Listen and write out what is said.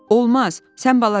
Olmaz, sən balacasan.